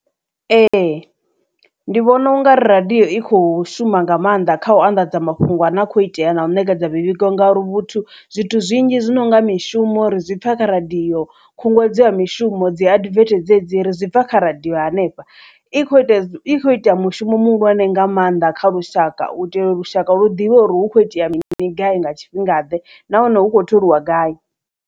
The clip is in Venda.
Ee ndi vhona ungari radiyo i kho shuma nga maanḓa kha u anḓadza mafhungo a ne a khou itea na u nekedza mivhigo ngauri vhuthu zwithu zwinzhi zwi no nga mishumo ri zwipfa kha radio khunguwedzo ya mishumo dzi advert dzedzi ri zwi pfha kha radio hanefha i kho i kho ita mushumo muhulwane nga maanḓa kha lushaka u itela u lushaka lu ḓivhe uri hu kho itea mini gai nga tshifhinga ḓe nahone hu kho tholiwa gai.